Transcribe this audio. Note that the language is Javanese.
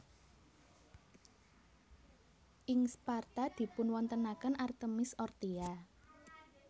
Ing Sparta dipunwontenaken Artemis Orthia